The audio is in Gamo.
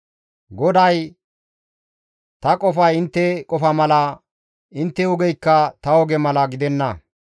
GODAY, «Ta qofay intte qofa mala, intte ogeykka ta oge mala gidenna.